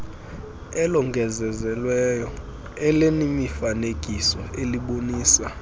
elongezelelweyo elinemifanekiso elibonisa